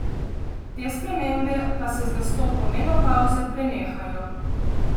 Te spremembe pa se z nastopom menopavze prenehajo.